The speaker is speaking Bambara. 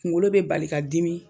Kungolo be bali ka dimi